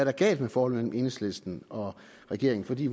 er galt med forholdet mellem enhedslisten og regeringen for vi